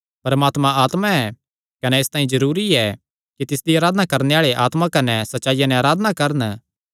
परमात्मा आत्मा ऐ कने इसतांई जरूरी ऐ कि तिसदी अराधना करणे आल़े आत्मा कने सच्चाईया नैं अराधना करन